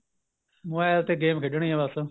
mobile ਤੇ game ਖੇਡਣੀ ਏ ਬੱਸ